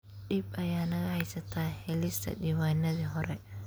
Dhib ayaa naga haysata helista diiwaanadii hore.